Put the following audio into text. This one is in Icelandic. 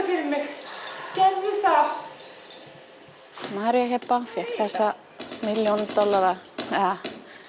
fyrir mig gerðu það María Heba fékk þessa milljón dollara eða